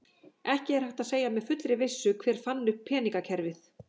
Ekki er hægt að segja með fullri vissu hver fann upp peningakerfið.